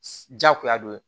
Jagoya do